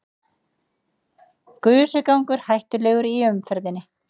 Gusugangur hættulegur í umferðinni